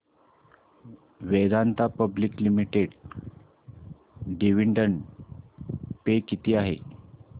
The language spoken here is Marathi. Vedanta public limited dividend pay किती आहे